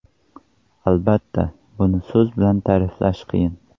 Albatta, buni so‘z bilan ta’riflash qiyin.